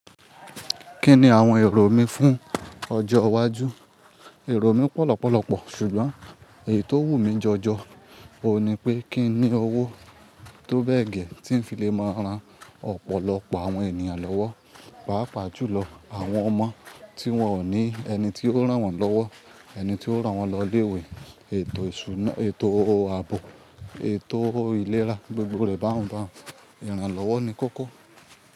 Kí ni àwọn èrò mi fún ọjọ́ iwájú? Èrò mi pọ̀lọ́pọ̀lọ́pọ̀, ṣùgbọ́n èyí tó wùn mí jọjọ, òun ni pé kí n ní owó tó bẹ́ẹ̀ gẹ́ tí ń fi lè máa ran ọ̀pọ̀lọpọ̀ àwọn ènìyàn lọ́wọ́, pàápàá jùlọ àwọn ọmọ tí wón ò ní ẹni tí ó rán wọn lọ́wọ́, ẹni tí ó rán wọn lọ ilé ìwé, ètò ìṣúná, ètò àbò, ètò ìlera, gbogbo rẹ̀ bá ń bá n, ìrànlọ́wọ́ ni kókó.